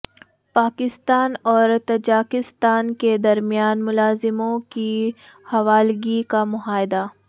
پاکستان اور تاجکستان کے درمیان ملزموں کی حوالگی کا معاہدہ